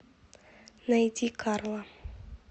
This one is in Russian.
найди карла